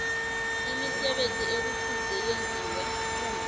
imisebenzi ekufuze yenziwe